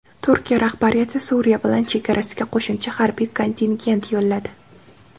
Turkiya rahbariyati Suriya bilan chegarasiga qo‘shimcha harbiy kontingent yo‘lladi.